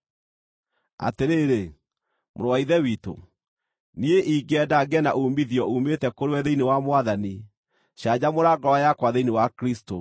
Atĩrĩrĩ, mũrũ wa Ithe witũ, niĩ ingĩenda ngĩe na uumithio uumĩte kũrĩwe thĩinĩ wa Mwathani; canjamũra ngoro yakwa thĩinĩ wa Kristũ.